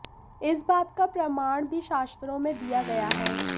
इस बात का प्रमाण भी शास्त्रों में दिया गया है